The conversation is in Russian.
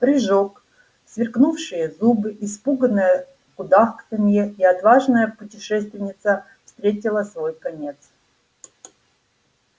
прыжок сверкнувшие зубы испуганное кудахтанье и отважная путешественница встретила свой конец